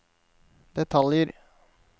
detaljer